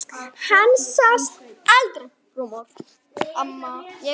Hann sást aldrei framar.